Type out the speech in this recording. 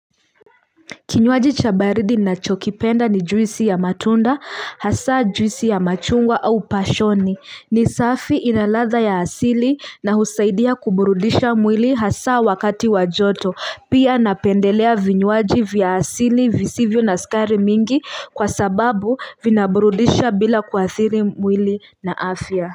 Kinywaji cha baridi ninachokipenda ni juisi ya matunda, hasa juisi ya machungwa au pashoni, ni safi inaladha ya asili na husaidia kuburudisha mwili hasa wakati wa joto, pia napendelea vinywaji vya asili visivyo na sukari mingi kwa sababu vinaburudisha bila kuathiri mwili na afya.